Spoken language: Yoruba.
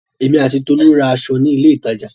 Èmi àti Tolú ra aṣọ ní ilé-ìtajà.